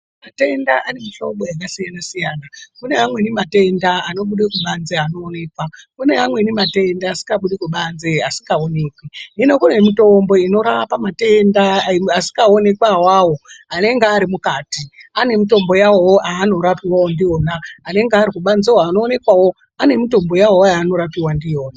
Matenda ane muhlobo yakasiyana-siyana. Kune amweni matenda asikabudi kubanze asingaonekwi. Hino kune mitombo inorapa matenda asikaonekwi. Awawo anenge ari mukati ane mitombo yawowo yaanorapiwawo ndiona. Anenge ari kubazewo anoonekwawo ane mitombo yawowo yaanorapiwa ndiyona.